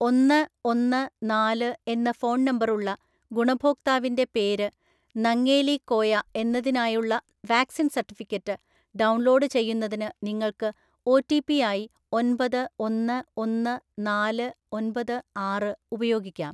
ഒന്ന് ഒന്ന് നാല് എന്ന ഫോൺ നമ്പറുള്ള ഗുണഭോക്താവിൻ്റെ പേര്‌ നങ്ങേലി കോയ എന്നതിനായുള്ള വാക്‌സിൻ സർട്ടിഫിക്കറ്റ് ഡൗൺലോഡ് ചെയ്യുന്നതിന് നിങ്ങൾക്ക് ഒ റ്റി പി ആയി ഒൻപത് ഒന്ന് ഒന്ന് നാല്‌ ഒൻപത്‌ ആറ് ഉപയോഗിക്കാം.